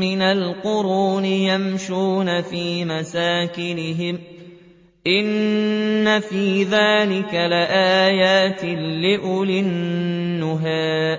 مِّنَ الْقُرُونِ يَمْشُونَ فِي مَسَاكِنِهِمْ ۗ إِنَّ فِي ذَٰلِكَ لَآيَاتٍ لِّأُولِي النُّهَىٰ